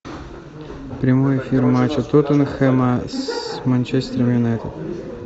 прямой эфир матча тоттенхэма с манчестер юнайтед